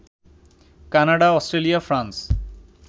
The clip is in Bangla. Canada, Australia, France